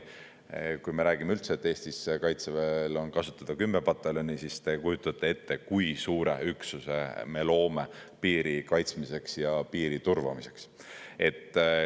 Kui me räägime üldse, et Eestis Kaitseväel on kasutada 10 pataljoni, siis te kujutate ette, kui suure üksuse me loome piiri kaitsmiseks ja piiri turvamiseks.